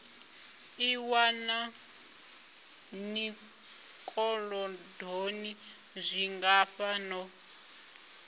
ḓiwana ni zwikolodoni zwingafha no